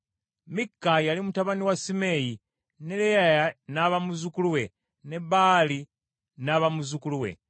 Mikka yali mutabani wa Simeeyi, ne Leyaya n’aba muzzukulu we, ne Baali n’aba muzzukulu we.